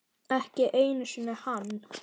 Ekki einu sinni hann.